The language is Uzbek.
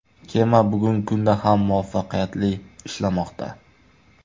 Kema bugungi kunda ham muvaffaqiyatli ishlamoqda.